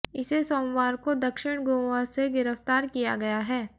इसे सोमवार को दक्षिण गोवा से गिरफ्तार किया गया है